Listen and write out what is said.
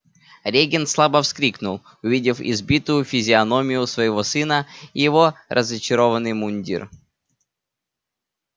регент слабо вскрикнул увидев избитую физиономию своего сына и его разочарованный мундир